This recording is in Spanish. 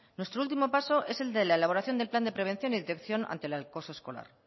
nuestro último paso es el de elaboración del plan de prevención y detección ante el acoso escolar